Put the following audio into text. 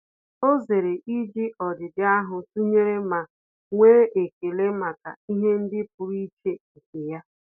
Ọ́ zèrè íjí ọ́dị́dị́ áhụ́ tụnyere ma nwee ekele màkà ihe ndị pụ́rụ́ iche nke ya.